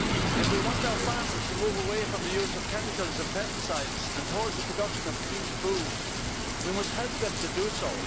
If we want our farmers to move away from the use of chemicals and pesticides and towards the production of clean food, we must help them to do so.